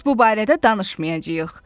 Biz bu barədə danışmayacağıq.